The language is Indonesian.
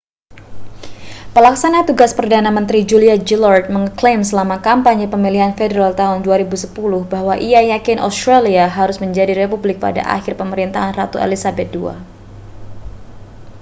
pelaksana tugas perdana menteri julia gillard mengeklaim selama kampanye pemilihan federal tahun 2010 bahwa ia yakin australia harus menjadi republik pada akhir pemerintahan ratu elizabeth ii